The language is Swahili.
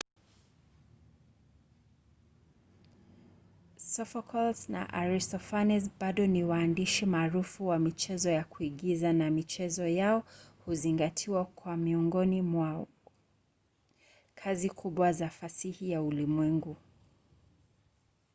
sophocles na aristophanes bado ni waandishi maarufu wa michezo ya kuigiza na michezo yao huzingatiwa kuwa miongoni mwa kazi kubwa za fasihi ya ulimwengu